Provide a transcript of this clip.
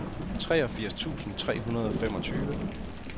treogfirs tusind tre hundrede og femogtyve